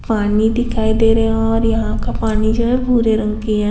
पानी दिखाई दे रहा है और यहाँ का पानी जो है भूरे रंग की है।